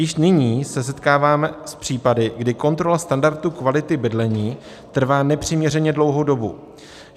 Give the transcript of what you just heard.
Již nyní se setkávám s případy, kdy kontrola standardu kvality bydlení trvá nepřiměřeně dlouhou dobu.